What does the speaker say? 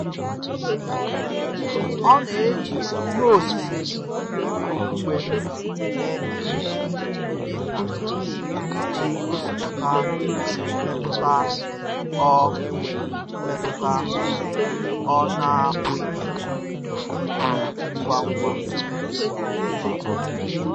Ọ́ nà-éjí ìhè ósísé ókpùkpé émé ìhè n’ị́kà ìjí gọ́sípụ́tà mmétụ́tà ọ́ mmétụ́tà ọ́ nà-ápụ́ghị́ íkwú ngwà ngwá.